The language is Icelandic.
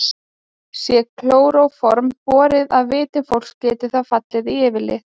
Sé klóróform borið að vitum fólks getur það fallið í yfirlið.